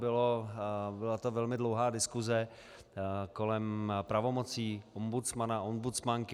Byla to velmi dlouhá diskuse kolem pravomocí ombudsmana, ombudsmanky.